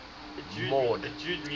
mord